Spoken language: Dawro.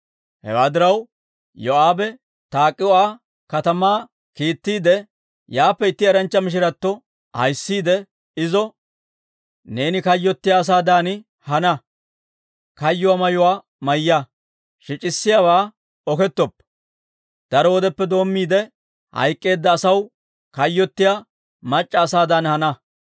Hewaa diraw, Yoo'aabe Tak'o"a katamaa kiittiide, yaappe itti eranchcha mishiratto ahisiide izo, «Neeni kayyottiyaa asaadan hana; kayyuwaa mayuwaa mayya; shic'issiyaawaa okettoppa; daro wodeppe doommiide, hayk'k'eedda asaw kayyottiyaa mac'c'a asaadan hana.